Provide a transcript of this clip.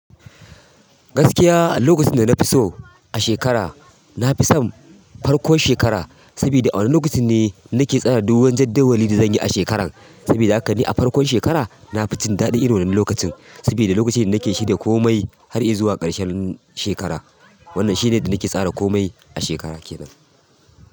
Gaskiya, lokacin da na fi so a shekara, na fi son farkon shekara. Sabida a wannan lokacin ne nake tsara duk wani jadawalin da zan yi a shekaran. Sabida haka ni a farkon shekara na fi jin daɗi irin wannan lokacin. Saboda lokacin ne nake shirya komai har zuwa ƙarshen shekara. Wannan shine da nake tsara komai a shekara ke nan.